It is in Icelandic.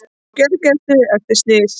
Á gjörgæslu eftir slys